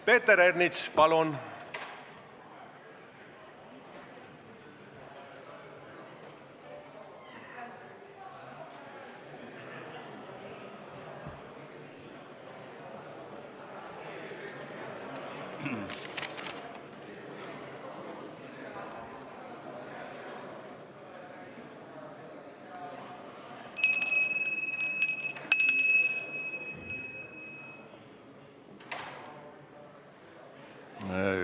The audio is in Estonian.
Peeter Ernits, palun!